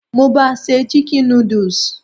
Mo ba se "chicken noodles".